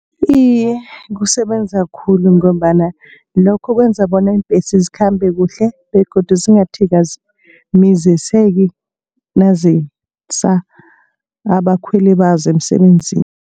Iye, kusebenza khulu ngombana lokho kwenza bona iimbhesi zikhambe kuhle begodu zingathikamiziseki nazisa abakhweli bazo emsebenzini.